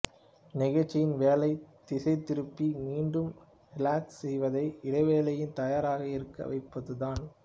நிகழ்ச்சியின் வேலை திசைதிருப்பி மீண்டும் ரிலாக்ஸ் செய்யவைத்து இடைவேளையில் தயாராக இருக்க வைப்பதுதான்